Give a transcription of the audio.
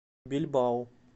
бильбао